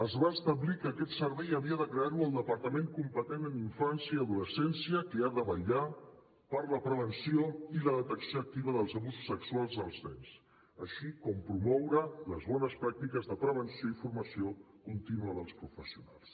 es va establir que aquest servei havia de crear lo el departament competent en infància i adolescència que ha de vetllar per la prevenció i la detecció activa dels abusos sexuals als nens així com promoure les bones pràctiques de prevenció i formació contínua dels professionals